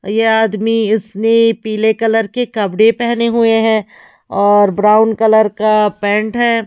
यह आदमी इसने पीले कलर के कपड़े पहने हुए है और ब्राउन कलर का पैंट है।